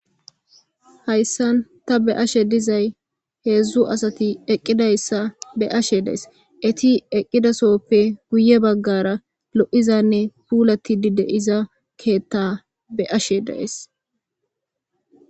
Haysan ta be'ashe dizay hezdu asati eqidaysa be'ashe days eti eqida sohope guye bagara lo'izane pulatidi de'iza ketha be'ashe days.